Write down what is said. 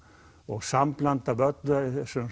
og sambland af öllum þessum